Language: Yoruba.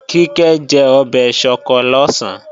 Kíkẹ́ jẹ ọbẹ̀ ṣọkọ lọ̀sán